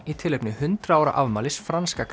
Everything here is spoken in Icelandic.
í tilefni hundrað ára afmælis franska